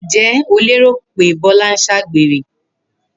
Ǹjé̩ o lérò pé Bó̩lá ń s̩àgbèrè?